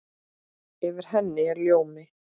Yfir henni er ljómi.